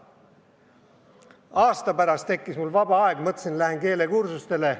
Aasta pärast mul tekkis rohkem vaba aega ja mõtlesin, et lähen keelekursustele.